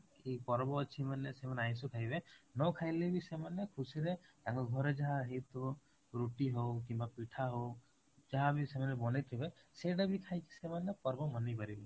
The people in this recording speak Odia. ପର୍ବ ଅଛି ମାନେ ସେମାନେ ଆଇଁସ ଖାଇବେ ନ ଖାଇଲେ ବି ସେମାନେ ଖୁସିରେ ତାଙ୍କ ଘରେ ଯାହା ହେଇଥିବା ରୁଟି ହଉ କିମ୍ବା ପିଠା ହଉ ଯାହା ବି ସେମାନେ ବନେଇଥିବେ ସେଇଟା ବି ଖାଇକି ସେମାନେ ପର୍ବ ମନେଇ ପାରିବେ